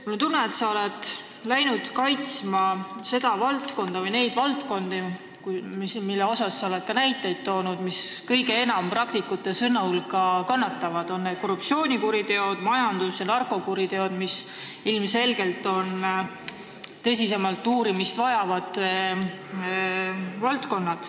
Mul on tunne, et sa oled asunud kaitsma neid valdkondi, mille kohta sa oled ka näiteid toonud ja mis praktikute sõnul kõige enam kannatavad – korruptsioonikuriteod, majandus- ja narkokuriteod –, sest need vajavad ilmselgelt tõsisemat uurimist.